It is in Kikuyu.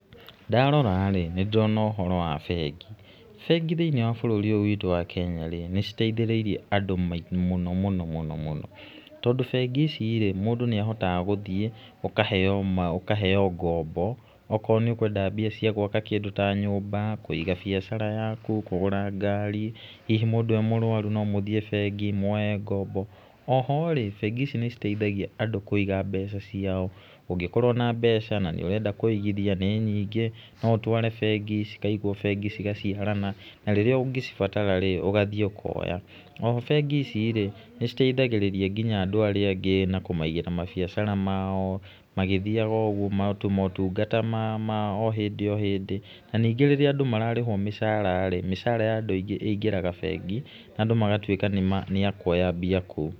Ndaroraĩ, nĩ ndĩrona ũhoro wa bengi. Bengi thĩiniĩ wa bũrũri ũyũ witũ wa Kenya, nĩ citeithĩrĩirie andũ mũno mũno mũno mũno, tondũ bengi icirĩ, mũndũ nĩahotaga gũthiĩ, ũkaheywo ũkoya ngombo, akorwo nĩ ũkwenda mbia cia gwaka kĩndũ ta nyũmba, kũiga biashara yaku, kũgũra ngari, hihi mũndũ e mũrwaru, no mũthiĩ bengi, muoye ngombo. Oho rĩ, bengi ici nĩ citeithagia andũ kũiga mbeca ciao. ũngĩkorwo na mbeca na nĩũrenda kũigithia nĩ nyingĩ, no ũtware bengi, cikaigwo bengi cigaciarana, na rĩrĩa ũngĩbatara, ũgathiĩ ũkoya. Oho bengi ici, nĩ citeithagĩrĩria nginya andũ arĩa angĩ, na kũmaigĩra mabiacara mao, magĩthiaga ũguo na ta maũungata ma ma ohĩndĩ ohĩndĩ, na nyingĩ rĩrĩa andũ mararĩhwo mĩcaraĩ, mĩcara ya andũ aingĩ ũingĩraga bengi, na andũ magatuĩka nĩ akuoya mbia kũu.